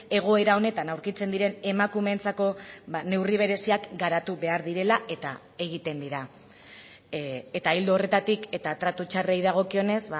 egoera honetan aurkitzen diren emakumeentzako neurri bereziak garatu behar direla eta egiten dira eta ildo horretatik eta tratu txarrei dagokionez